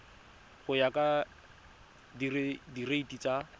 go ya ka direiti tsa